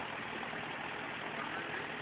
பன்னிரண்டு